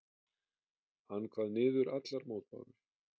Hann kvað niður allar mótbárur.